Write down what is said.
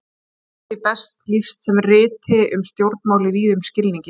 Kannski er því best lýst sem riti um stjórnmál í víðum skilningi.